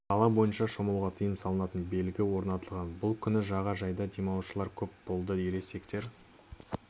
қала бойынша шомылуға тыйым салынатын белгі орнатылған бұл күні жаға жайда демалушылар көп болды ересектер